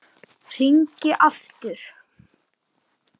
Hringi aftur!